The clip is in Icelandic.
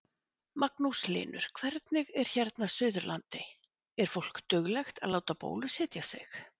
Magnús Hlynur: Hvernig er hérna Suðurlandi, er fólk duglegt að láta bólusetja sig?